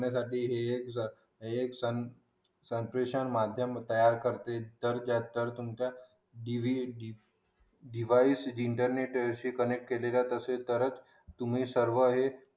आपल्यासाठी हे एक सन फॅशन माध्यम तयार करतील तर त्याचा तुमच्या डिवाइस इंटरने शी कनेक्ट केल्या नंतर तर सर्व